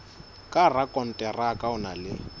ka rakonteraka o na le